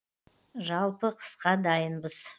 жалпы қысқа дайынбыз